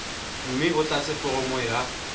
mme o tlatse foromo ya